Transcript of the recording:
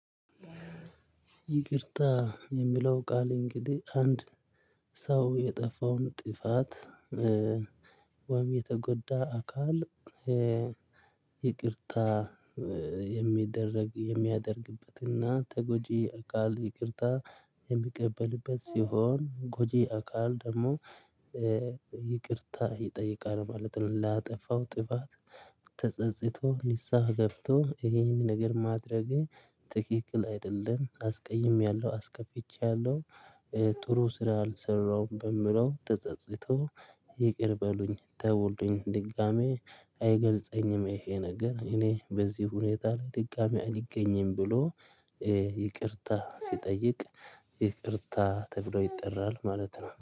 ይቅርታ የሚለው ቃል እንግዲህ አንድ ሰው የጠፋውን ጥፋት ወይም የተጎዳ አካል ይቅርታ የሚደረግ የሚያደርግበትና ተጎጂ አካል ይቅርታ የሚቀበልበት ሲሆን ጎጂ አካል ደግሞ ይቅርታ ይጠይቃል ማለት ነው። ላጠፋው ጥፋት ተጸጽቶ ንስሀ ገብቶ ይሄን ነገር ማድረጌ ትክክል አይደለም አስቀይሜያለሁ አስከፍቼያለሁ። ጥሩ ስራ አልሰራሁም በምለው ተጸጽቶ ይቅር በሉኝ ተወልኝ ድጋሚ አይገልጸኝም። ይሄ ነገር እኔ በዚህ ሁኔታ ላይ ድጋሚ አልገኝም። ብሎ ይቅርታ ሲጠይቅ ይቅርታ ተብሎ ይጠራል ማለት ነው